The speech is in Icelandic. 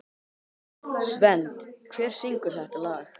Svend, hver syngur þetta lag?